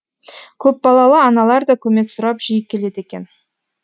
көпбалалы аналар да көмек сұрап жиі келеді екен